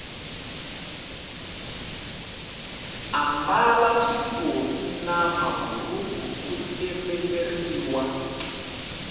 ambala switofi na maburhuku o tsemeleriwa